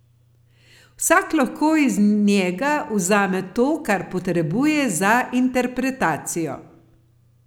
Vsak lahko iz njega vzame to, kar potrebuje za interpretacijo.